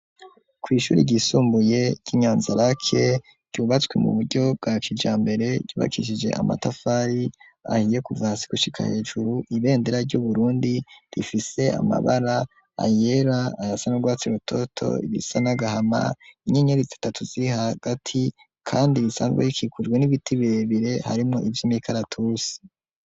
Ku ishure ryisumbuye ryinyanzaraki ryubatswe mu buryo bwa kijambere ryubakishije amatafari ahiye kuva hasi gushika hejuru ibendera ry'uBurundi rifise amabara ayera ayasa nurwatsi rutoto ibisa n'agahama inyenyeri zitatu ziri hagati kandi risanzwe rikikujwe n'ibiti birebire harimwo ivyimikaratusi.